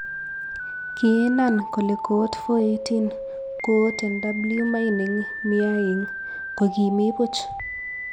kiinan kole koot 418, koot nw mining miaing, ko kimi buch